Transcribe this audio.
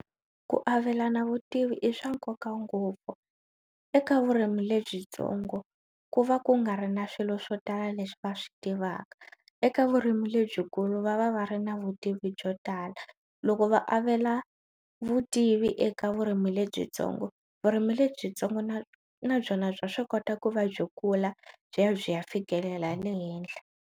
Ku avelana vutivi i swa nkoka ngopfu eka vurimi lebyitsongo ku va ku nga ri na swilo swo tala leswi va swi tivaka eka vurimi lebyikulu va va va ri na vutivi byo tala loko va avelana vutivi eka vurimi lebyitsongo vurimi lebyitsongo na na byona bya swi kota ku va byi kula byi ya byi ya fikelela ya le henhla.